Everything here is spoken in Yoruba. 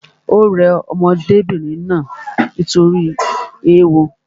Ò rẹ ọmọdébìnrin náà nítorí ééwo